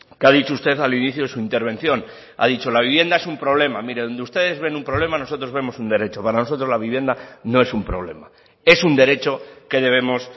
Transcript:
que ha dicho usted al inicio de su intervención ha dicho la vivienda es un problema mire donde ustedes ven un problema nosotros vemos un derecho para nosotros la vivienda no es un problema es un derecho que debemos